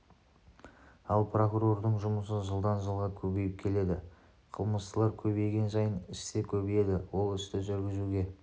ал прокурордың жұмысы жылдан жылға көбейіп келеді қылмыстылар көбейген сайын іс те көбейеді ол істі жүргізуге